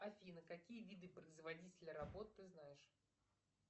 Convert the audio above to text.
афина какие виды производителя работ ты знаешь